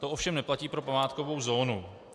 To ovšem neplatí pro památkovou zónu.